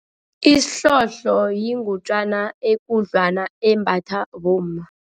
Isihlohlo yingutjana ekudlwana embathwa bomma.